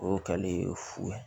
O kɛlen fu ye